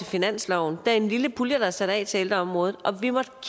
finansloven der er en lille pulje der er sat af til ældreområdet og vi måtte